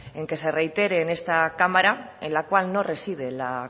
en que se reitere en esta cámara en la cual no reside la